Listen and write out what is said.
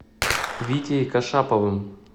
витей кашаповым